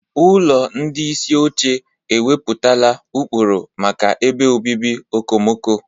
Ụlọ ndị isi oche ewepụtala ụkpụrụ maka ebe obibi okomoko.